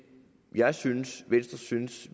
jeg synes venstre synes